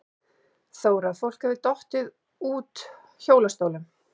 Þóra: Fólk hefur dottið út hjólastólum?